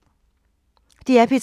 DR P3